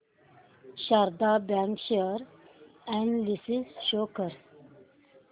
Sharda bank share analysis show कर